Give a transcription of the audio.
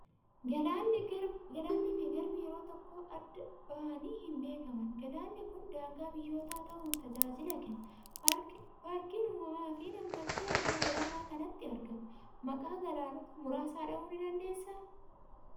Galaannii fi garbi yeroo tokko adda bahanii hin beekaman. Galaanni kun daangaa biyyootaa ta'uun tajaajila kenna. Paarkiin uumamaa fi nam tolchee iddoo galaana kanaatti argamu. Maqaa galaanota muraasaa dhahuu ni dandeessaa?